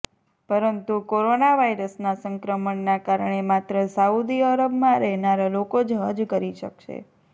પરંતુ કોરોના વાયરસના સંક્રમણના કારણે માત્ર સાઉદી અરબમાં રહેનારા લોકો જ હજ કરી શકશે